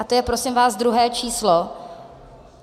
A to je, prosím vás, druhé číslo.